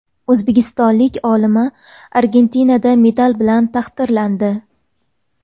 O‘zbekistonlik olima Argentinada medal bilan taqdirlandi.